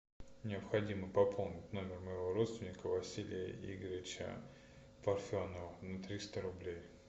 необходимо пополнить номер моего родственника василия игоревича парфенова на триста рублей